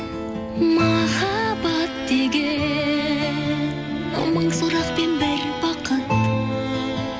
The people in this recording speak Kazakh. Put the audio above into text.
махаббат деген мың сұрақ пен бір бақыт